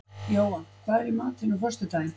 Jóa, hvað er í matinn á föstudaginn?